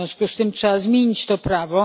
W związku z tym trzeba zmienić to prawo.